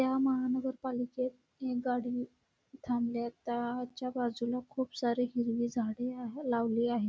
या महानगर पालिकेत एक गाडी थांबलिय त्याच्या बाजूने खुप सारी हिरवी झाड आहे लावली आहे.